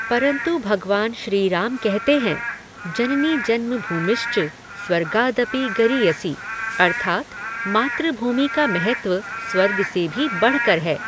परंतु भगवान श्री राम कहते हैं जननीजन्मभूमिश्च स्वर्गादपि गरीयसी अर्थात मातृभूमि का महत्व स्वर्ग से भी बढ़कर है।